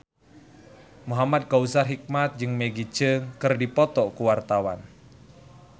Muhamad Kautsar Hikmat jeung Maggie Cheung keur dipoto ku wartawan